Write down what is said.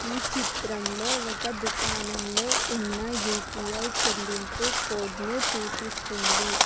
ఈ చిత్రంలో ఒక దుకాణంలో ఉన్న యూ_పీ_ఐ చెల్లింపు కోడ్ను చూపిస్తుంది.